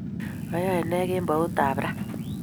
Iyoe ne kemboutab raa?